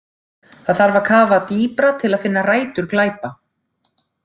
Það þarf að kafa dýpra til að finna rætur glæpa.